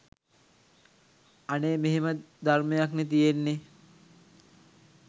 ‘අනේ මෙහෙම ධර්මයක්නෙ තියෙන්නේ.